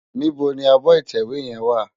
Nibó ni ábò itèwé yèn wá?